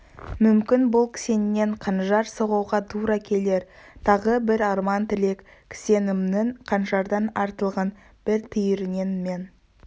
мүмкін бұл кісеннен қанжар соғуға тұра келер тағы бір арман-тілек кісенімнің қанжардан артылған бір түйірінен мен